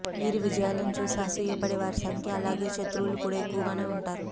వీరి విజయాలను చూసి అసూయ పడే వారి సంఖ్య అలాగే శత్రువులు కూడా ఎక్కవగానే ఉంటారు